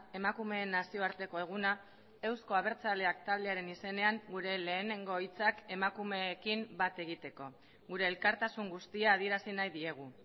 emakumeen nazioarteko eguna euzko abertzaleak taldearen izenean gure lehenengo hitzak emakumeekin bat egiteko gure elkartasun guztia adierazi nahi diegu